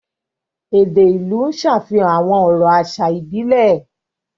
Èdè ìlú ń ṣàfihàn àwọn ọ̀rọ̀ àṣà ìbílẹ̀.